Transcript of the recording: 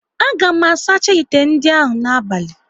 A ga m asacha ite ndị ahụ n'abali